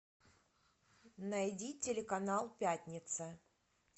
найди телеканал пятница